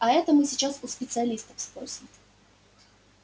а это мы сейчас у специалистов спросим